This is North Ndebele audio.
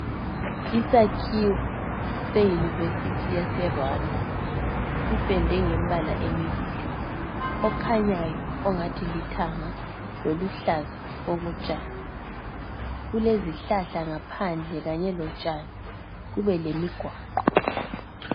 Isakhiwo seyunivesithi yase Rwanda, sipendwe ngembala emibili, okhanyayo ongathi lithanga loluhlaza okotshani. Kulezihlahla ngaphandle kanye lotshani, kube lemigwaqo.